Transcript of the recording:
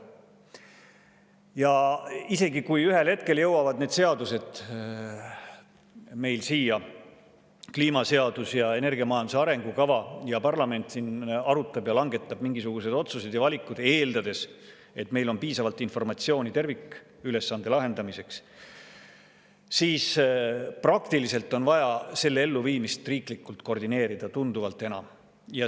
Ja isegi kui ühel hetkel jõuavad meile siia need seadused, kliimaseadus ja energiamajanduse arengukava, ja parlament siin arutab ja langetab mingisugused otsused ja valikud, eeldades, et meil on piisavalt informatsiooni tervikülesande lahendamiseks, siis praktiliselt on vaja selle elluviimist riiklikult koordineerida tunduvalt enam.